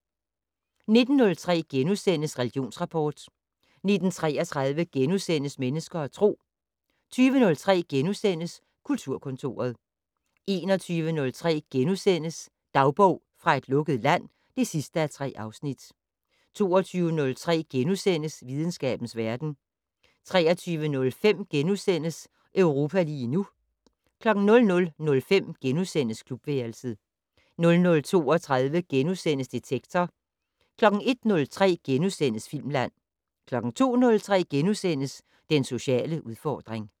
19:03: Religionsrapport * 19:33: Mennesker og Tro * 20:03: Kulturkontoret * 21:03: Dagbog fra et lukket land (3:3)* 22:03: Videnskabens verden * 23:05: Europa lige nu * 00:05: Klubværelset * 00:32: Detektor * 01:03: Filmland * 02:03: Den sociale udfordring *